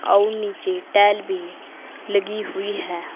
आउर नीचे टाइल भी लगी हुई है।